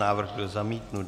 Návrh byl zamítnut.